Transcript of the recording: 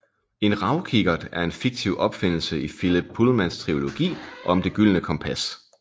En ravkikkert er en fiktiv opfindelse i Philip Pullmans trilogi om Det gyldne kompas